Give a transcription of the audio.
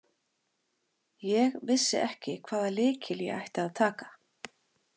Ég vissi ekki hvaða lykil ég ætti að taka